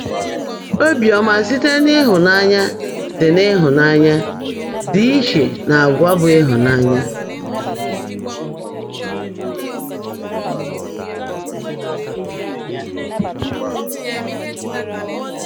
Óbíọ́mã síte n’ị́hụ́nányá ḍị́ n’ị́hụ́nányá ḍị́ íchè n’àgwà bụ́ ị́hụ́nányá.